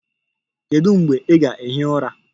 Kedu mgbe ị ga-ehi ụra?